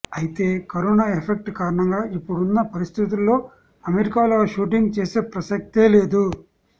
అయితే corona effect కారణంగా ఇప్పుడున్న పరిస్థితుల్లో అమెరికాలో షూటింగ్ చేసే ప్రసక్తే లేదు